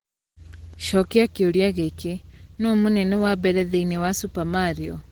cokia kĩũria gĩkĩ, nũ mũnene wa mbere thĩinĩ wa Super Mario